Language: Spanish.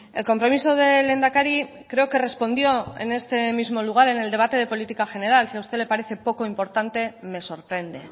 el compromiso del lehendakari creo que respondió en este mismo lugar en el debate de política general si a usted le parece poco importante me sorprende